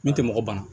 Min tɛ mɔgɔ ban